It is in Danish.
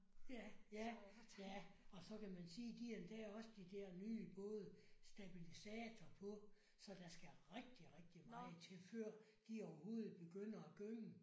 Ja ja ja og så kan man sige de har endda også de der nye både stabilisator på så der skal rigtig rigtig meget til før de overhovedet begynder at gynge